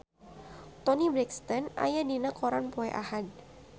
Toni Brexton aya dina koran poe Ahad